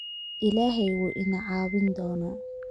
Illahay wuu ina caawin doonaa